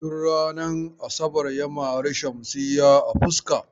Tun ranar asabar ya mare Shamsiyya a fuska.